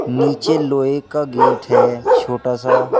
नीचे लोहे का गेट है छोटा सा।